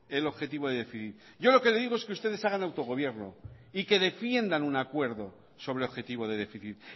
el objetivo de déficit yo lo que le digo es que ustedes hagan autogobierno y que defiendan un acuerdo sobre objetivo de déficit